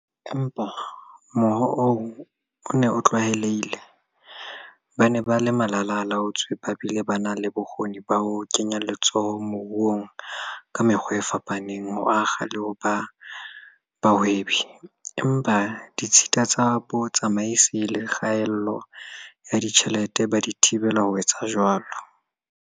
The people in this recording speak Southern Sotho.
Empa mohoo oo o ne o tlwaelehile- ba ne ba le malala-a-laotswe ba bile ba na le bokgoni ba ho kenya letsoho moruong ka mekgwa e fapaneng, ho akga le ho ba bahwebi, empa ditshita tsa bo tsamaisi le kgaello ya ditjhelete di ba thibela ho etsa jwalo.